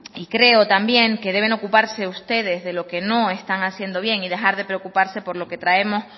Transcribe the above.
y creo también que deben ocuparse ustedes de lo que no están haciendo bien y dejar de preocuparse por lo que traemos